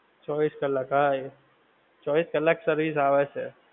ચોવીસ કલાક હા એ. ચોવીસ કલાક service આવે છે.